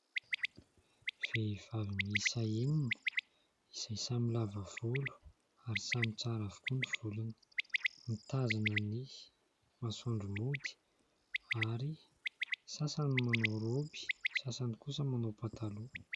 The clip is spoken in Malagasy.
Vehivavy miisa enina izay samy lavavolo ary samy tsara avokoa ny volony. Mitazana ny masoandro mody ary sasany manao "robe", sasany kosa manao pataloha.